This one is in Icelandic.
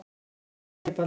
Þakka þér fyrir Baldvin.